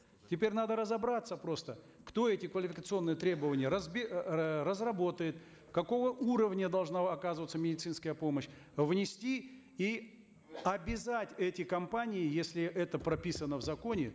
теперь надо разобраться просто кто эти квалификационные требования э разработает какого уровня должна оказываться медицинская помощь внести и обязать эти компании если это прописано в законе